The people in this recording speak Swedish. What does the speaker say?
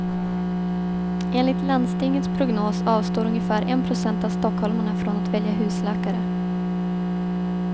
Enligt landstingets prognos avstår ungefär en procent av stockholmarna från att välja husläkare.